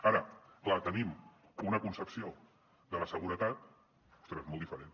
ara és clar tenim una concepció de la seguretat ostres molt diferent